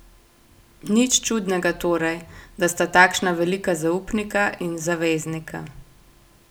Nič čudnega torej, da sta takšna velika zaupnika in zaveznika.